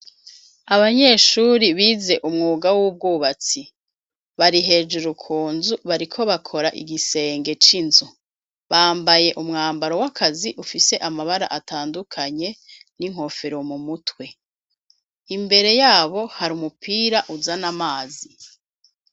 Abanyeshuri bize umwuga w'ubwubatsi bari hejuru kunzu bariko bakora igisenge c'inzu bambaye umwambaro w'akazi ufise amabara atandukanye n'inkofero mu mutwe imbere yabo hari umupira uzan amazi.